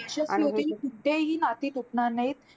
यशस्वी होतील कोणतेही नाती तुटणार नाहीत.